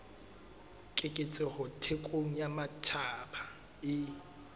keketseho thekong ya matjhaba e